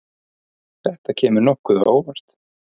Þetta kemur nokkuð á óvart.